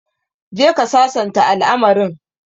Go and resolve the issue